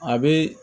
A bɛ